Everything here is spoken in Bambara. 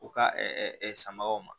U ka sanbagaw ma